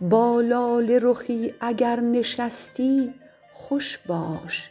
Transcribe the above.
با لاله رخی اگر نشستی خوش باش